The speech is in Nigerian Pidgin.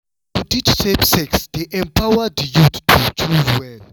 to teach safe sex dey empower di youth to choose well.